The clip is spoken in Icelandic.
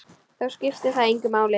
Þó skiptir það engu máli.